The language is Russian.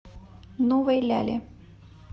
новой ляле